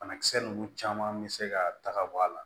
Banakisɛ ninnu caman bɛ se ka tagama